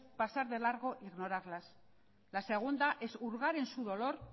pasar de largo e ignorarlas la segunda es hurgar en su dolor